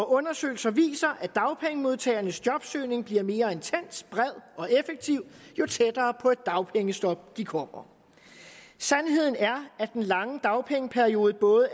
undersøgelser viser at dagpengemodtagernes jobsøgning bliver mere intens bred og effektiv jo tættere på et dagpengestop de kommer sandheden er at den lange dagpengeperiode både